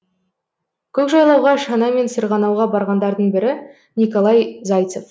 көкжайлауға шанамен сырғанауға барғандардың бірі николай зайцев